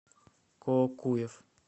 коокуев